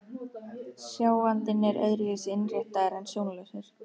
Sjáandinn er öðru vísi innréttaður en sjónlausir.